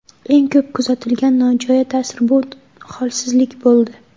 Eng ko‘p kuzatilgan nojo‘ya ta’sir bu – holsizlik bo‘ldi.